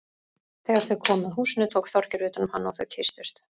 Þegar þau komu að húsinu tók Þorgeir utan um hana og þau kysstust.